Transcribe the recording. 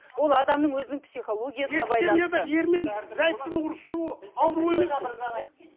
ол адамның өзінің психологиясына байланысты екі семьяда ері мен зайыптың ұрсысуы ауру емес пе